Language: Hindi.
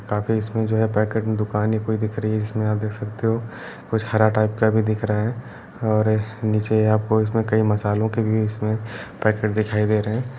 काफ़ी इसमें जो है पैकेट की दुकान पूरी दिख रही है। इसमें आप देख सकते हो कुछ हरा टाइप का भी दिख रहा है और नीचे आपको इसमें कई मसालों के भी इसमें पैकेट दिखाई दे रहे हैं।